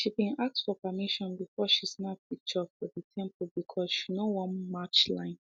she been ask for permission before she snap picture for the temple because she no wan match line